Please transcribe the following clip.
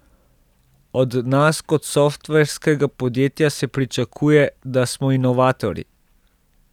Od nas kot softverskega podjetja se pričakuje, da smo inovatorji.